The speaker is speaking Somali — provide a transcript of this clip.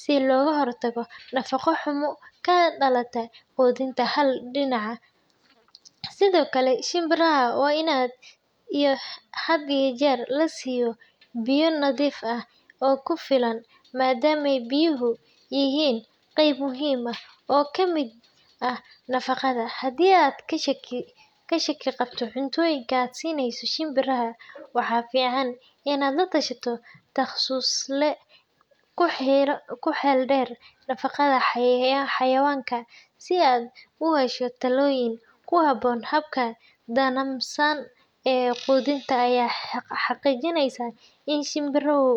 si looga hortago nafaqo xumo ka dhalata quudin hal dhinac ah. Sidoo kale, shimbiraha waa in had iyo jeer la siiyo biyo nadiif ah oo ku filan maadaama biyuhu yihiin qayb muhiim ah oo ka mid ah nafaqada. Haddii aad ka shaki qabto cuntooyinka aad siinayso shimbiraha, waxaa fiican inaad la tashato takhasusle ku xeel dheer nafaqada xayawaanka si aad u hesho talooyin ku habboon. Habkan nidaamsan ee quudinta ayaa xaqiijinaya in shimbirihu.